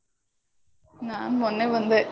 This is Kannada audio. ನಾನ್ ಮೊನ್ನೆ ಬಂದೆ.